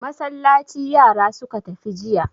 Masallaci yara suka tafi jiya.